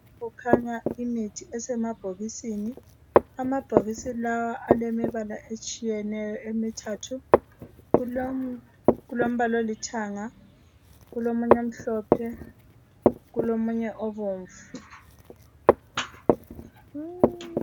Kukhanya imithi esemabhokisini. Amabhokisi lawa alemibala etshiyeneyo emithatha. . Kulombala olithanga, omunye omhlophe, kanye lobomvu.